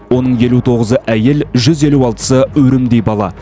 оның елу тоғызы әйел жүз елу алтысы өрімдей бала